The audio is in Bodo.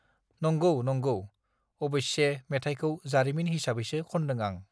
नंगौः नंगौः अबस्ये मेथायखौ जारिमिन हिसाबैसो खन्दों आं